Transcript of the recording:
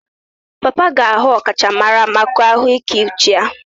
Papa ga-ahụ ọkachamara maka ahụike uche ya.